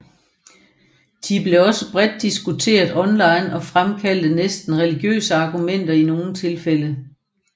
De blev også bredt diskuteret online og fremkaldte næsten religiøse argumenter i nogle tilfælde